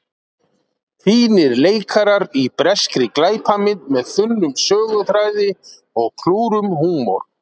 Fínir leikarar í breskri glæpamynd með þunnum söguþræði og klúrum húmor.